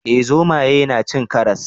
Eh zomaye na cin karas